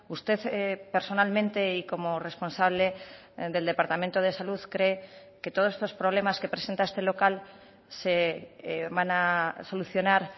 usted personalmente y como responsable del departamento de salud cree que todos estos problemas que presenta este local se van a solucionar